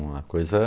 uma coisa